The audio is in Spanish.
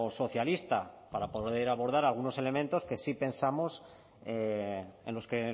socialista para poder abordar algunos elementos que sí pensamos en los que